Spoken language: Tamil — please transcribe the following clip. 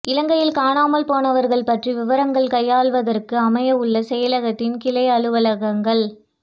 இலங்கையில் காணாமல் போனவர்கள் பற்றிய விவகாரங்களை கையாள்வதற்காக அமையவுள்ள செயலகத்தின் கிளை அலுவலகங்கள்